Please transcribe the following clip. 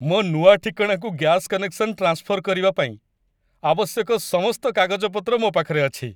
ମୋ ନୂଆ ଠିକଣାକୁ ଗ୍ୟାସ କନେକ୍ସନ ଟ୍ରାନ୍ସଫର କରିବା ପାଇଁ ଆବଶ୍ୟକ ସମସ୍ତ କାଗଜପତ୍ର ମୋ ପାଖରେ ଅଛି ।